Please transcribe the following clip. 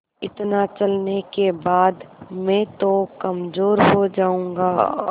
इतना चलने के बाद मैं तो कमज़ोर हो जाऊँगा